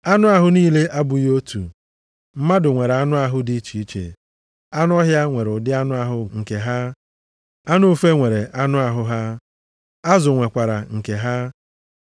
Anụ ahụ niile abụghị otu, mmadụ nwere anụ ahụ dị iche, anụ ọhịa nwere ụdị anụ ahụ nke ha. Anụ ufe nwere anụ ahụ ha, azụ nwekwara nke ha.